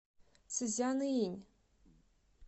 цзянъинь